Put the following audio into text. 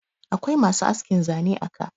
akwai masu askin Zane a ka